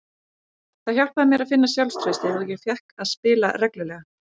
Það hjálpaði mér að finna sjálfstraustið og ég fékk að spila reglulega.